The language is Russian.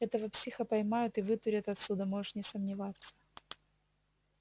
этого психа поймают и вытурят отсюда можешь не сомневаться